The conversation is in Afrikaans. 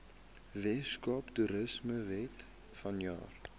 weskaapse toerismewet vanjaar